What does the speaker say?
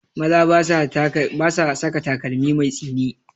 Maza ba sa saka takalmi mai tsini